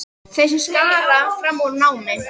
Þeir sem skara fram úr í námi.